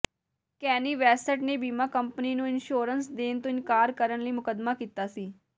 ਕੈਨੀ West ਨੇ ਬੀਮਾ company ਨੂੰ ਇਨਸ਼ੋਰੈਂਸ ਦੇਣ ਤੋਂ ਇਨਕਾਰ ਕਰਨ ਲਈ ਮੁਕੱਦਮਾ ਕੀਤਾ ਸੀ